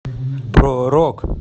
про рок